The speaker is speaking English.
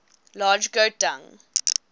large goat dung